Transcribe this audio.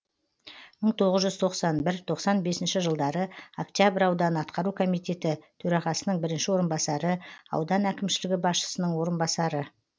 мың тоғыз жүз тоқсан бір тоқсан бесінші жылдары октябрь ауданы атқару комитеті төрағасының бірінші орынбасары аудан әкімшілігі басшысының орынбасары